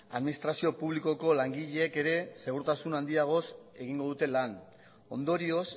administrazio publikoko langileek ere segurtasun handiagoz egingo dute lan ondorioz